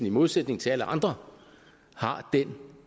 i modsætning til alle andre har den